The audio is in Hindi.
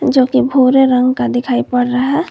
जो की भूरे रंग का दिखाई पड़ रहा है।